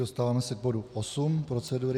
Dostáváme se k bodu 8 procedury.